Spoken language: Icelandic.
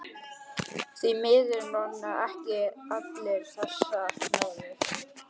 Því miður njóta ekki allir þessarar náðar.